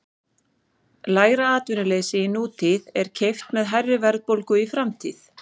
Lægra atvinnuleysi í nútíð er keypt með hærri verðbólgu í framtíð.